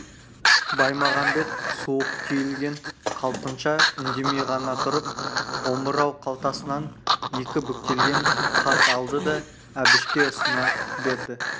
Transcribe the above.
баймағамбет суық түйілген қалпынша үндемей ғана тұрып омырау қалтасынан екі бүктелген хат алды да әбішке ұсына берді